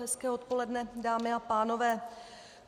Hezké odpoledne, dámy a pánové.